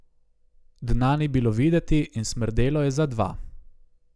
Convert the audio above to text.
Dna ni bilo videti in smrdelo je za dva.